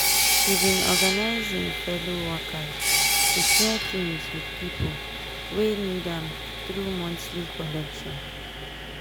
he bin organize i'm fellow workers to share things with pipo wey need am through monthly collection.